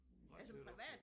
Ret tæt op ad